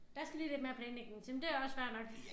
Der skal lige lidt mere planlægning til men det også fair nok